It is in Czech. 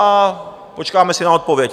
A počkáme si na odpověď.